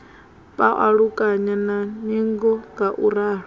pa ulukana na ningo ngauralo